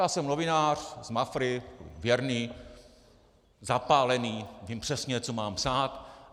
Já jsem novinář z Mafry, věrný, zapálený, vím přesně, co mám psát.